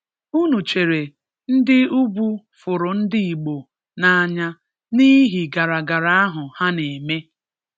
Ụnụ chere n’Ndị Ugwu fùrù Ndị Igbo n’anya n’ihi gara-gàrà ahụ ha na-eme.